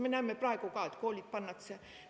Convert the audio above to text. Me näeme praegu ka, et koolid pannakse kinni.